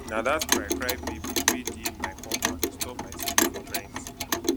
na dat crycry baby wey dey my compound disturb my sleep for night